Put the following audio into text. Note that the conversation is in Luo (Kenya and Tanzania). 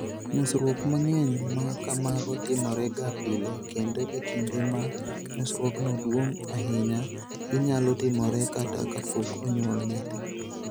Nyosruok mang'eny ma kamago timorega pile, kendo e kinde ma nyosruokno duong' ahinya, ginyalo timore kata kapok onyuol nyathi.